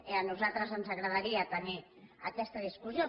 i a nosaltres ens agradaria tenir aquesta discussió